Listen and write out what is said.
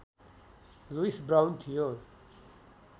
Lewis Brown थियो